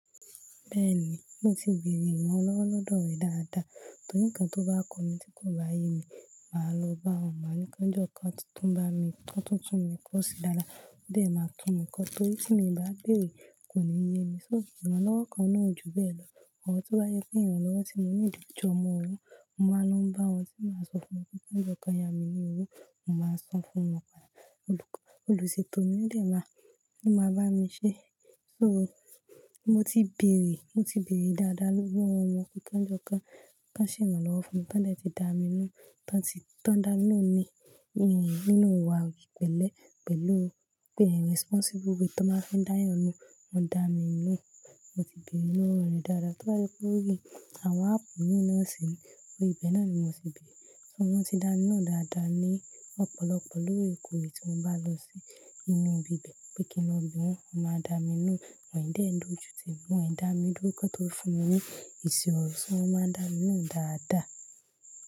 Bẹ́ẹ̀ni, mo ti bèrè ìrànlọ́wọ́ lọ́dọ̀ rẹ̀ dáadáa. Torí nǹkan tó bá kó mi tí kò bá yé mi, màá lọ bá won ma ní ko jọ kan túntun bá mi, tún tún tún mi kó sí dáadáa. Bẹ́ẹ̀ máa tún mi kọ́ torí tí mo bá bèrè kò ní yé mi. Sóò, ìrànlọ́wọ́ kan náà ò ju bẹ́ẹ̀ lọ. Ọ̀rọ̀ tó bá yẹ pé ìrànlọ́wọ́ tí mo ní lò jọ́ mọ òwo, mo máa ń lo bá wọn tí màá sọ fún wọn pé ko jọ kọ yá mi ní òwo, mo máa san fún wọn padà. Olùṣètò lo dè máa, lo máa bá mi ṣe. Sóò, mo ti bèrè, mo ti bèrè dáadáa lówo wọn pé kan jọ kan, kan ṣèránlọ́wọ́ fún mi. Tán dẹ ti dá mi lohun, tán ti, tán dá mí lohun ni nínú ìwà í pẹ̀lẹ́ pẹ̀lú pé rẹsípọ́nsíbù way tó máa ń fi dá ẹyan nù, wọ́n dá mi lohun. Mo ti bèrè lówo rẹ̀ dáadáa. Torí pé ó rí àwọn áàpù ní na sìni, óri ibẹ̀ náà ni mo ti bèrè. Ṣé wọ́n ti dá mi nù dáadáa ní ọ̀pọ̀lọpọ̀ lórekoore tí mo bá lọ sí inú ibi bẹ́ẹ̀ pe kí n lọ bí wọn, wọ́n máa dá mi lohun. Wọn ò ì dé ń dojútì mi, wọ́n i dá mi dúró kan tó fún mi ní eṣi ọ̀rọ̀ ṣé wọ́n máa ń dá mi lohun dáadáa?